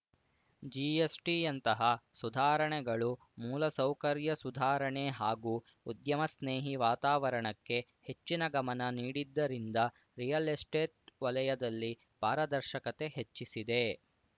ಜಿಎಸ್‌ಟಿಯಂತಹ ಸುಧಾರಣೆಗಳು ಮೂಲ ಸೌಕರ್ಯ ಸುಧಾರಣೆ ಹಾಗೂ ಉದ್ಯಮಸ್ನೇಹಿ ವಾತಾವರಣಕ್ಕೆ ಹೆಚ್ಚಿನ ಗಮನ ನೀಡಿದ್ದರಿಂದ ರಿಯಲ್‌ ಎಸ್ಟೇಟ್‌ ವಲಯದಲ್ಲಿ ಪಾರದರ್ಶಕತೆ ಹೆಚ್ಚಿಸಿದೆ